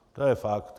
To je fakt.